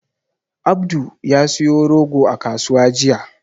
Abdul ya siyo rogo a kasuwa jiya.